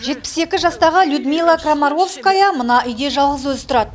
жетпіс екі жастағы людмила крамаровская мына үйде жалғыз өзі тұрады